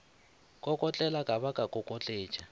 kokotlela ka ba ka kokotletša